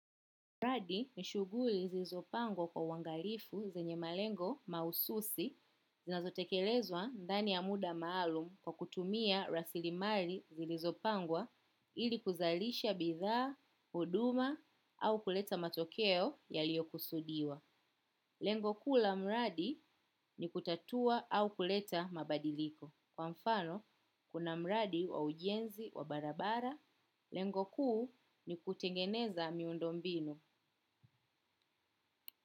Mradi nishuguli zilizopangwa kwa uangalifu zenye malengo mahususi zinazotekelezwa ndani ya muda maalum kwa kutumia rasilimali zilizopangwa, ili kuzalisha bidhaa, huduma au kuleta matokeo yaliyo kusudiwa. Lengo kuu la mradi ni kutatua au kuleta mabadiliko. Kwa mfano, kuna mradi wa ujenzi wa barabara, lengo kuu ni kutengeneza miundo mbinu.